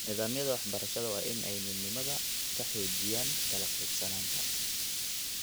Nidaamyada waxbarashada waa in ay midnimada ka xoojiyaan kala qaybsanaanta.